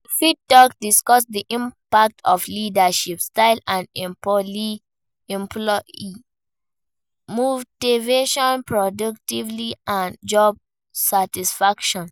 You fit discuss di impact of leadership style on employee motivation, productivity and job satisfaction.